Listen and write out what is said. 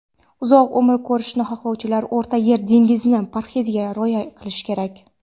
uzoq umr ko‘rishni xohlovchilar O‘rta yer dengizi parheziga rioya qilishi kerak.